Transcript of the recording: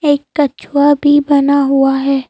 एक कछुआ भी बना हुआ है।